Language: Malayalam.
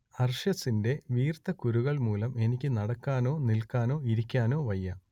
അർശസിന്റെ വീർത്ത കുരുക്കൾ മൂലം എനിക്കു നടക്കാനോ നിൽക്കാനോ ഇരിക്കാനോ വയ്യ